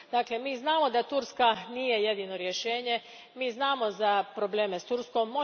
Dakle, mi znamo da Turska nije jedino rješenje, mi znamo za probleme s Turskom.